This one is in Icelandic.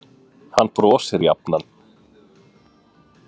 Hann brosir jafnan.